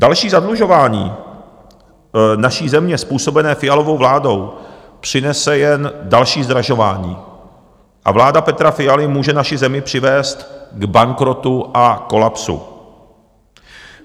Další zadlužování naší země způsobené Fialovou vládou přinese jen další zdražování a vláda Petra Fialy může naši zemi přivést k bankrotu a kolapsu.